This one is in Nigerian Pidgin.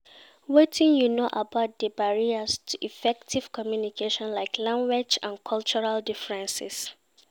Wetin you know about di barriers to effective communication, like language and cultural differences?